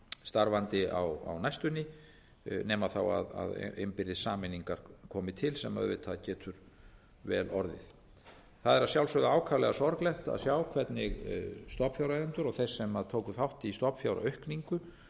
starfandi á næstunni nema innbyrðis sameiningar komi til sem auðvitað getur vel orðið það er að sjálfsögðu ákaflega sorglegt að sjá hvernig stofnfjáreigendur og þeir sem tóku þátt í stofnfjáraukningu